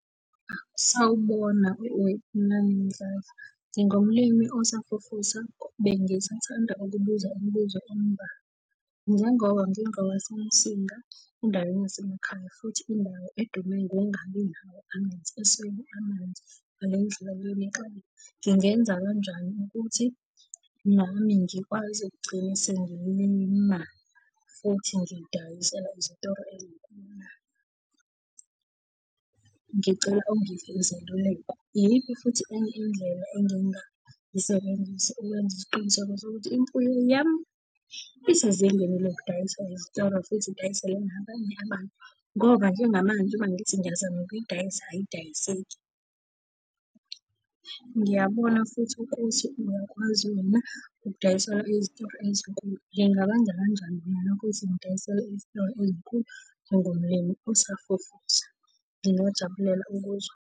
Sawubona wePhumlani Mdladla. Ngingumlimi osafufusa bengisathanda ukubuza imibuzo emubalwa. Njengoba ngingowaseMsinga endaweni yasemakhaya, futhi indawo edume ngokungabi nawo amanzi, eswele amanzi ngale ndlela lena exakile. Ngingenza kanjani ukuthi nami ngikwazi ukugcina sengilima futhi ngidayisela izitoro ey'nkulu? Ngicela ungiphe izeluleko. Iyiphi futhi enye indlela engingayisebenzisa ukwenza isiqiniseko sokuthi imfuyo yami isezingeni lokudayiswa ezitoro futhi idayiselwe nabanye abantu? Ngoba njengamanje ngoba ngithi ngiyazama ukuyidayisa ayidayiseki. Ngiyabona futhi ukuthi uyakwazi wena ukudayisela izitoro ezinkulu. Ngingakwenza kanjani mina lokho ukuthi ngidayisele izitoro ezinkulu njengomlimi osafufusa? Ngingajabulela ukuzwa.